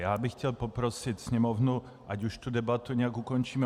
Já bych chtěl poprosit Sněmovnu, ať už tu debatu nějak ukončíme.